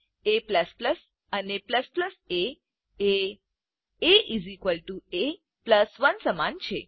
a અને a એ એ એ 1 સમાન છે